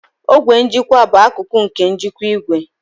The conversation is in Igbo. Ogwe njikwa bụ akụkụ nke njikwa igwe